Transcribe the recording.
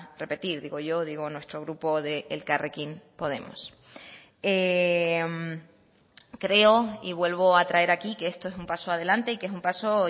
repetir digo yo digo nuestro grupo de elkarrekin podemos creo y vuelvo a traer aquí que esto es un paso adelante y que es un paso